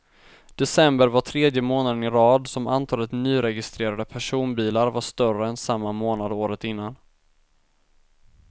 December var tredje månaden i rad som antalet nyregistrerade personbilar var större än samma månad året innan.